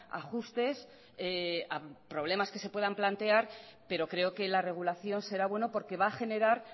ajustes a problemas que se puedan plantear pero creo que la regulación será bueno porque va a generar